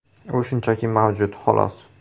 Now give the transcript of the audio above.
U shunchaki mavjud, xolos.